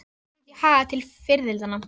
Ég var komin út í hagann til fiðrildanna.